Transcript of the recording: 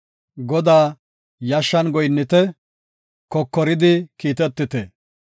Godaa yashshan goyinnite; kokoridi kiitetite.